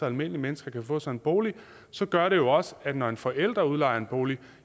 almindelige mennesker kan få sig en bolig så gør det jo også at når en forælder udlejer en bolig